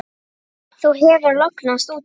Þú hefur lognast út af!